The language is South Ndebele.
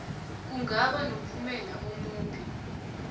kungaba nomphumela omumbi